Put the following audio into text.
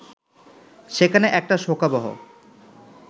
সেখানে একটা শোকাবহ